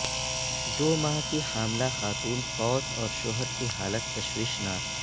دو ماہ کی حاملہ خاتون فوت اور شوہر کی حالت تشویشناک